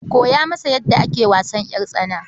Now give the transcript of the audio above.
Koya masa yadda ake wasan ƴartsana.